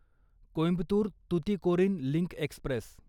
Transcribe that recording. Coimbatore Tuticorin link Express